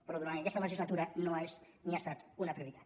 però durant aquesta legislatura no és ni ha estat una prioritat